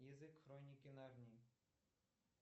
язык хроники нарнии